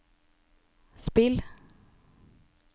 spill